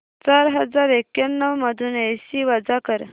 चार हजार एक्याण्णव मधून ऐंशी वजा कर